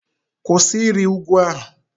Kwụsị ịrị ugwu ahụ!